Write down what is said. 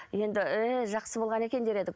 енді еее жақсы болған екен дер едік